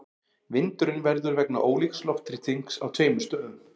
Vindurinn verður vegna ólíks loftþrýstings á tveimur stöðum.